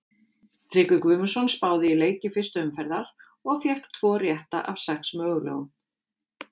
Tryggvi Guðmundsson spáði í leiki fyrstu umferðar og fékk tvo rétta af sex mögulegum.